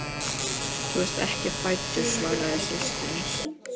Þú varst ekki fæddur svaraði systir hans.